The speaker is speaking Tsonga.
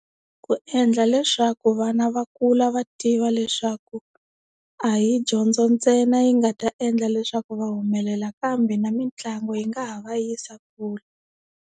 Ku endla leswaku vana va kula va tiva leswaku a hi dyondzo ntsena yi nga ta endla leswaku va humelela kambe na mitlangu yi nga ha va yisa kule.